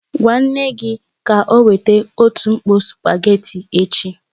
Gwa nne gị ka o weta otu mkpò spugeetí echi